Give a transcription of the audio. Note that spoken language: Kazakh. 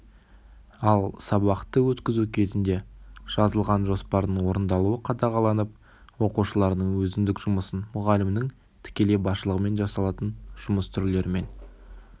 ал сабақты өткізу кезінде жазылған жоспардың орындалуы қадағаланып оқушылардың өзіндік жұмысын мұғалімнің тікелей басшылығымен жасалатын жұмыс түрлерімен